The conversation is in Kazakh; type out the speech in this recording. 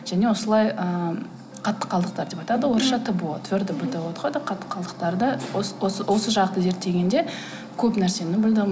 және осылай ыыы қатты қалдықтар деп айтады орысша тбо твердо бытовые отходы қатты қалдықтарды осы жақты зерттегенде көп нәрсені білдім